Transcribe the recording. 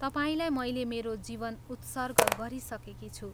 तपाईंलाई मैले मेरो जीवन उत्सर्ग गरिसकेकी छु।